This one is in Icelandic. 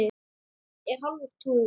Er hálfur tugur.